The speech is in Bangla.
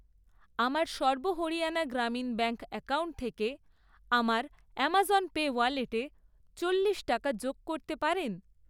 আমার সর্ব হরিয়ানা গ্রামীণ ব্যাঙ্ক অ্যাকাউন্ট থেকে আমার আমাজন পে ওয়ালেটে চল্লিশ টাকা যোগ করতে পারেন?